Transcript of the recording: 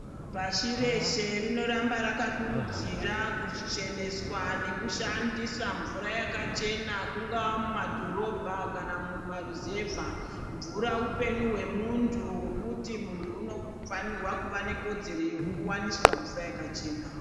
Pashi reeshe rinoramba rakakurudzira kucheneswa nekushandisa mvura yakachena ,kungaa kumadhorobha kana mumaruzevha .Mvura upenyu hwemuntu, hwekuti muntu unofanirwa kuva nekodzero yekuwaniswa mvura yakachena.